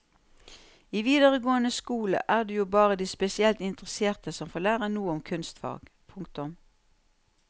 I videregående skole er det jo bare de spesielt interesserte som får lære noe om kunstfag. punktum